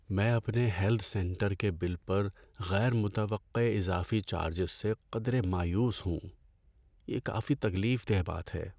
میں اپنے health centre کے بِل پر غیر متوقع اضافی چارجز سے قدرے مایوس ہوں، یہ کافی تکلیف دہ بات ہے۔